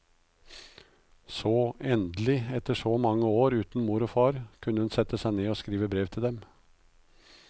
Så, endelig, etter så mange år uten mor og far, kunne hun sette seg ned og skrive et brev til dem.